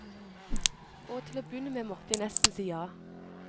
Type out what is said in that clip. Og til å begynne med måtte jeg nesten si ja.